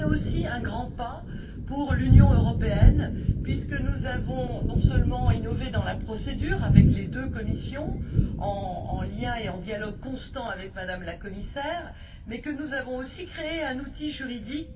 Mais c'est aussi un grand pas pour l'Union européenne puisque nous avons non seulement innové dans la procédure, avec les deux commissions en lien et en dialogue constants avec Mme la commissaire, mais que nous avons aussi créé un outil juridique.